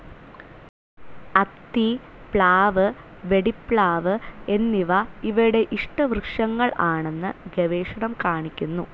അത്തി, പ്ലാവ് വെടിപ്ലാവ് എന്നിവ ഇവയുടെ ഇഷ്ടവൃക്ഷങ്ങൾ ആണെന്ന് ഗവേഷണം കാണിക്കുന്നു.